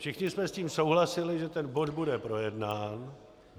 Všichni jsme s tím souhlasili, že ten bod bude projednán.